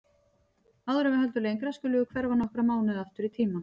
Áður en við höldum lengra skulum við hverfa nokkra mánuði aftur í tímann.